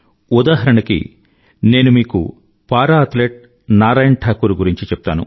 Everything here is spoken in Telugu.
ఉదాహరణకి నేను మీకు పారా అథ్లెట్ నారాయణ్ ఠాకూర్ గురించి చెప్తాను